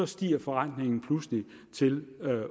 stiger forrentningen pludselig til